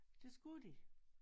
Det skulle de